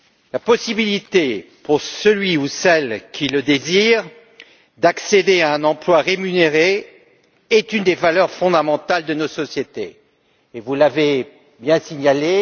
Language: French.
La possibilité pour celle ou celui qui le désire d'accéder à un emploi rémunéré est une des valeurs fondamentales de notre société, comme vous l'avez signalé.